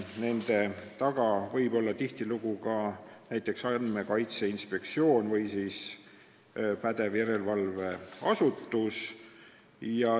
Nende taga võib tihtilugu olla näiteks Andmekaitse Inspektsioon või siis pädev järelevalveasutus.